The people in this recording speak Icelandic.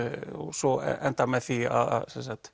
svo endar með því að